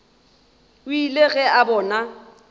o ile ge a bona